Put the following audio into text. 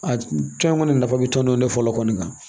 A tɔn in kɔni nafa bɛ tɔnden fɔlɔ kɔni na